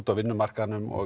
á vinnumarkaðnum og